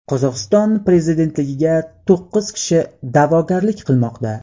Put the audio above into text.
Qozog‘iston prezidentligiga to‘qqiz kishi da’vogarlik qilmoqda.